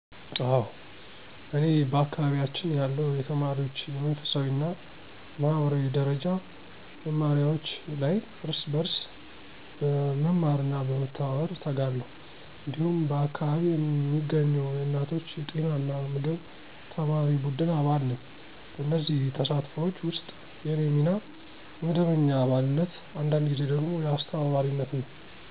አዎ፤ እኔ በአካባቢያችን ያለው የተማሪዎች የመንፈሳዊ እና ማህበራዊ ደረጃ መማሪያዎች ላይ እርስ በርስ በመማርና በመተባበር እተጋለሁ። እንዲሁም በአካባቢ የሚገኘው የእናቶች የጤና እና ምግብ ተማሪ ቡድን አባል ነኝ። በእነዚህ ተሳትፎች ውስጥ የእኔ ሚና የመደበኛ አባልነት፣ አንዳንድ ጊዜ ደግሞ የአስተባባሪነት ነው።